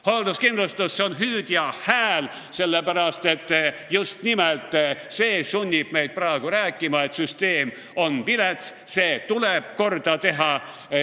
Hoolduskindlustus on hüüdja hääl, sellepärast, et just nimelt see sunnib meid praegu rääkima, et süsteem on vilets, see tuleb korda teha.